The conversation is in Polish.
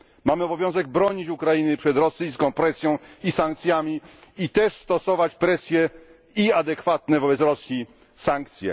Mamy obowiązek bronić Ukrainy przed rosyjską presją i sankcjami i też stosować presję i adekwatne wobec Rosji sankcje.